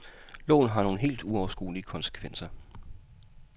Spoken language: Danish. Loven har nogle helt uoverskuelige konsekvenser.